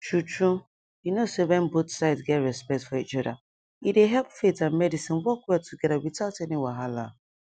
true true you know say when both sides get respect for each other e dey help faith and medicine work well together without any wahala